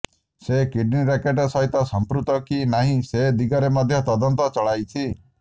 ସେ kidney racket ସହିତ ସଂଯୁକ୍ତ କି ନାହିଁ ସେ ଦିଗରେ ମଧ୍ୟ ତଦନ୍ତ ଚଳାଇଛି